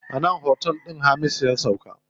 A nan otel din Hamisu ya sauka.